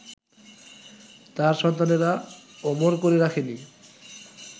তাঁর সন্তানেরা অমর করে রাখেনি